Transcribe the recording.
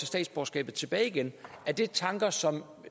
statsborgerskabet tilbage igen er det tanker som